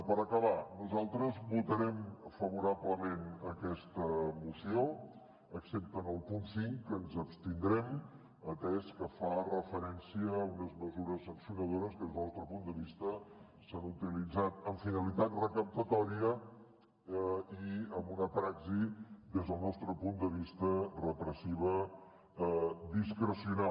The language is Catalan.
per acabar nosaltres votarem favorablement a aquesta moció excepte en el punt cinc que ens abstindrem atès que fa referència a unes mesures sancionadores que des del nostre punt de vista s’han utilitzat amb finalitat recaptatòria i amb una praxi des del nostre punt de vista repressiva discrecional